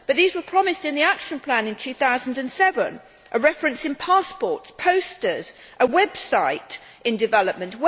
But these were promised in the action plan in 2007 a reference in passports, posters, a website in development.